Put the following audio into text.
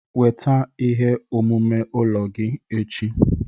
Weta ihe omume ụlọ gị echi